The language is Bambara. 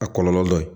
A kɔlɔlɔ dɔ ye